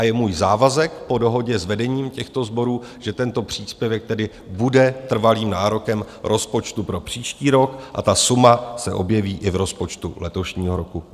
A je můj závazek po dohodě s vedením těchto sborů, že tento příspěvek tedy bude trvalým nárokem rozpočtu pro příští rok a ta suma se objeví i v rozpočtu letošního roku.